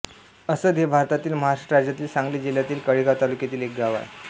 असद हे भारतातील महाराष्ट्र राज्यातील सांगली जिल्ह्यातील कडेगांव तालुक्यातील एक गाव आहे